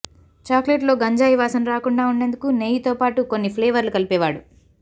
చాక్లెట్లో గంజాయి వాసన రాకుండా ఉండేందుకు నెయ్యితో పాటు కొన్ని ఫ్లెవర్లు కలిపేవాడు